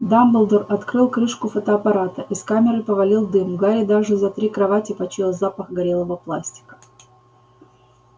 дамблдор открыл крышку фотоаппарата из камеры повалил дым гарри даже за три кровати почуял запах горелого пластика